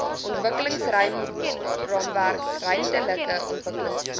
ontwikkelingsraamwerk ruimtelike ontwikkelingsplan